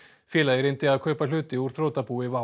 félagið reyndi að kaupa hluti úr þrotabúi WOW